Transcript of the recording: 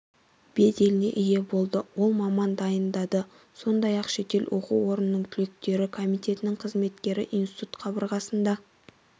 беделіне ие болды ол маман дайындады сондай-ақ шетел оқу орнының түлектері комитетінің қызметкері институт қабырғасында